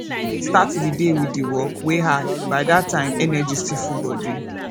start di day with di work wey hard by that time energy still full body